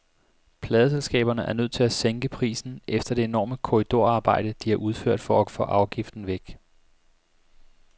Pladeselskaberne er nødt til at sænke prisen efter det enorme korridorarbejde, de har udført for at få afgiften væk.